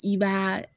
I b'aa